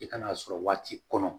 I kan'a sɔrɔ waati kɔnɔ